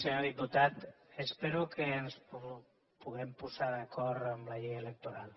senyor diputat espero que ens puguem posar d’acord en la llei electoral